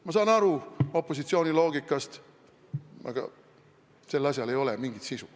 Ma saan aru opositsiooni loogikast, aga sel asjal ei ole mingit sisu.